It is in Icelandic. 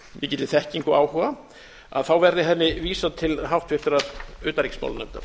mikilli þekkingu og áhuga að þá verði henni vísað til háttvirtrar utanríkismálanefndar